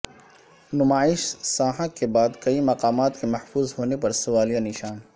نمائش سانحہ کے بعد کئی مقامات کے محفوظ ہونے پر سوالیہ نشان